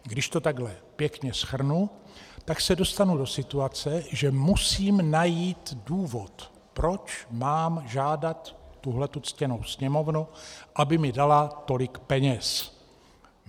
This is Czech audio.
Když to takhle pěkně shrnu, tak se dostanu do situace, že musím najít důvod, proč mám žádat tuhle ctěnou Sněmovnu, aby mi dala tolik peněz.